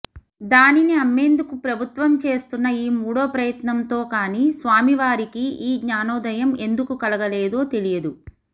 దానిని అమ్మేందుకు ప్రభుత్వం చేస్తున్న ఈ మూడో ప్రయత్నంతో కానీ స్వామివారికి ఈ జ్ఞానోదయం ఎందుకు కలగలేదో తెలియదు